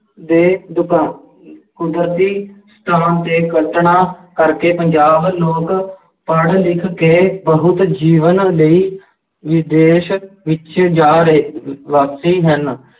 ਦੇ ਕੁਦਰਤੀ 'ਤੇ ਕਲਪਨਾ ਕਰਕੇ ਪੰਜਾਬ ਲੋਕ ਪੜ੍ਹ ਲਿਖ ਕੇ ਬਹੁਤ ਜੀਵਨ ਲਈ ਵਿਦੇਸ਼ ਵਿੱਚ ਜਾ ਰਹੇ ਹਨ